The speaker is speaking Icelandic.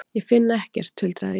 Ég finn ekkert, tuldraði ég.